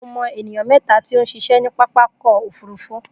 Mo mọ ènìyàn mẹ́ta tí ó ń ṣiṣẹ́ ní pápákọ̀ òfúrufú